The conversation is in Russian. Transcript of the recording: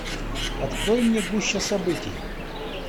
открой мне гуща событий